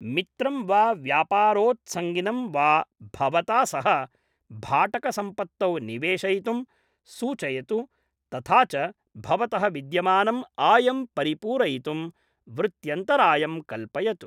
मित्रं वा व्यापारोत्सङ्गिनं वा भवता सह भाटकसम्पत्तौ निवेशयितुं सूचयतु तथा च भवतः विद्यमानम् आयं परिपूरयितुं वृत्यन्तरायं कल्पयतु।